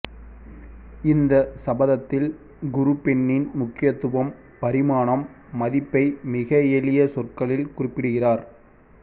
இந்த சபத்தில் குரு பெண்ணின் முக்கியத்துவம் பரிமாணம் மதிப்பை மிக எளிய சொற்களில் குறிப்பிடுகிறார்